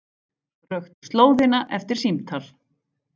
Röktu slóðina eftir símtal